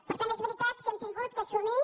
per tant és veritat que hem hagut d’assumir